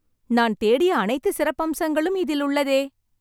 நான் தேடிய அனைத்து சிறப்பம்சங்களும் இதில் உள்ளதே..